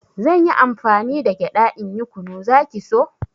Zanyi amfani da gyaɗa in yi kunu, zaki so